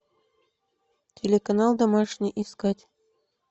телеканал домашний искать